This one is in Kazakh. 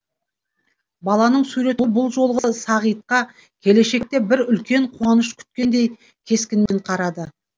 баланың суреті бұл жолы сағитқа келешекте бір үлкен қуаныш күткендей кескінмен қарады